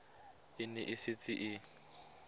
e ne e setse e